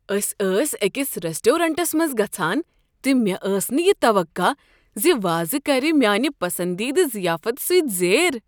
أسۍ ٲسہِ أکس ریزورٹس منٛز گژھان تہٕ مےٚ ٲس نہٕ یہ توقع ز وازٕ كرِ مےٚ میٲنہِ پسندیدٕ زیافتہٕ سٕتۍ زیر ۔